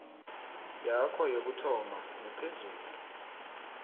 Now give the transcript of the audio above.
yakho yokuthoma nephezulu